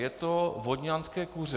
Je to vodňanské kuře.